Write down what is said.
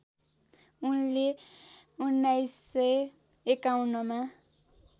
उनले १९५१ मा